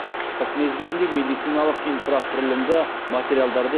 қыс мезгілінде медициналық инфрақұрылымды материалдарды